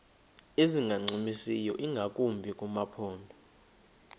ezingancumisiyo ingakumbi kumaphondo